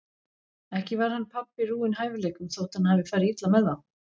Ekki var hann pabbi rúinn hæfileikum þótt hann hafi farið illa með þá.